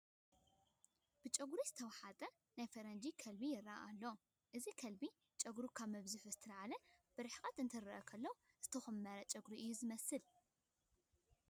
ብጨጉሪ ዝተዋሕጠ ናይ ፈረንጂ ከልቢ ይርአ ኣሎ፡፡ እዚ ከልቢ ጨጉሩ ካብ ምፍዝሑ ዝተላዕለ ብርሕቐት እንትርአ ዝኾነ ዝተኾመረ ጨጉሪ እዩ ዝመስል፡፡